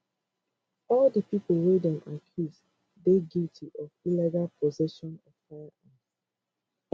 all di pipo wey dem accuse dey guilty of illegal possession of firearms